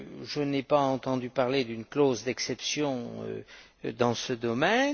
Je n'ai pas entendu parler d'une clause d'exception dans ce domaine.